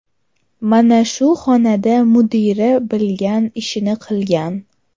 Mana shu xonada mudira bilgan ishini qilgan.